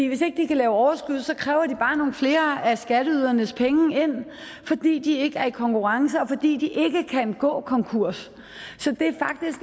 hvis ikke de kan lave overskud kræver de bare nogle flere af skatteydernes penge ind fordi de ikke er i konkurrence og fordi de ikke kan gå konkurs så det